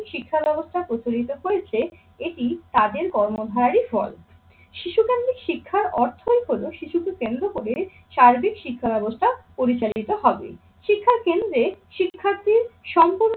শিক্ষা ব্যবস্থা প্রচলিত করেছে এটি তাদের কর্ম ধারী ফল। শিশুকেন্দিক শিক্ষার অর্থই হলো শিশুকে কেন্দ্র করে সার্বিক শিক্ষা ব্যবস্থা পরিচালিত হবে। শিক্ষার কেন্দ্রে শিক্ষার্থীর সম্পূর্ণ